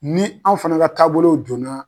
Ni anw fɛnɛ ka taabolo joona.